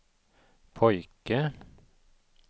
pojke